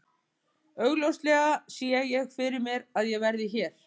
Augljóslega sé ég fyrir mér að ég verði hér.